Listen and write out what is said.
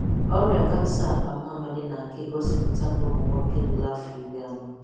Ọrịa Kansa akpamamịrị na aka egosipụta nụmụnwọke ruru afọ iri anọ.